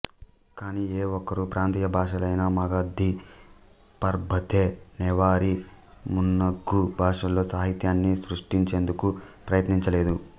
కాని ఏఒక్కరూ ప్రాంతీయ భాషలైన మగధి పర్బాతే నేవారీ మున్నగు భాషలలో సాహిత్యాన్ని సృష్టించేందుకు ప్రయత్నించలేదు